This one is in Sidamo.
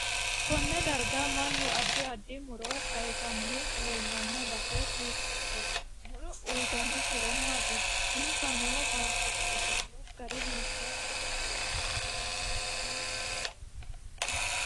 Konne darga mannu addi addi muro kayiisanni leelanno base hiitoote muro uyiitanno horo maati insa noo baatoote ofolla gari hiitooho